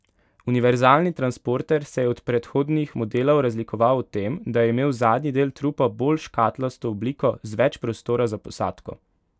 Univerzalni transporter se je od predhodnih modelov razlikoval v tem, da je imel zadnji del trupa bolj škatlasto obliko, z več prostora za posadko.